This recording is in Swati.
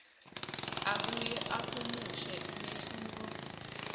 abuye ahumushe umehluko